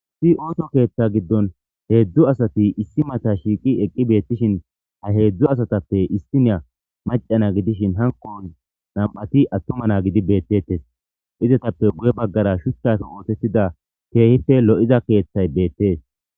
Issi otho ketha gidon hedzu asati issi mata shiqo eqidi betishin ha hezdu asatpe issiniya maca na gidishin hanko nam'ati atuma na gidi betetes izetape guye bagara shuchape oothetida kehippe lo'iza kethay betes